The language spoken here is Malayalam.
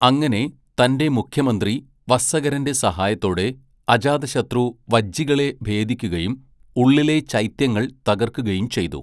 അങ്ങനെ, തൻ്റെ മുഖ്യമന്ത്രി വസ്സകരൻ്റെ സഹായത്തോടെ, അജാതശത്രു വജ്ജികളെ ഭേദിക്കുകയും, ഉള്ളിലെ ചൈത്യങ്ങൾ തകർക്കുകയും ചെയ്തു.